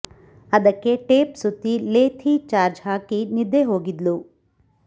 ಅದಕ್ಕೆ ಟೇಪ್ ಸುತ್ತಿ ಲೆ ಥಿ ಚಾರ್ಜ್ ಹಾಕಿ ನಿದ್ದೆ ಹೋಗಿದ್ಲು